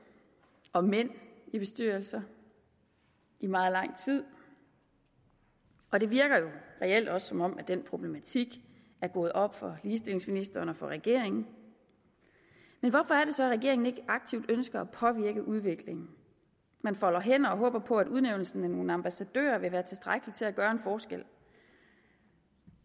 og mænd i bestyrelser i meget lang tid og det virker jo reelt også som om den problematik er gået op for ligestillingsministeren og for regeringen men hvorfor er det så at regeringen ikke aktivt ønsker at påvirke udviklingen man folder hænder og håber på at udnævnelsen af nogle ambassadører vil være tilstrækkelig til at gøre en forskel